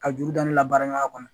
Ka juru dɔn ne labaaraya kɔnɔ